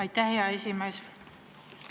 Aitäh, hea esimees!